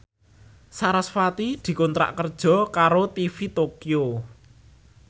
sarasvati dikontrak kerja karo TV Tokyo